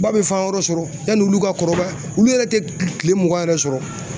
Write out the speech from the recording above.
Ba bɛ fan wɛrɛ sɔrɔ yani olu ka kɔrɔbaya olu yɛrɛ tɛ kile mugan yɛrɛ sɔrɔ.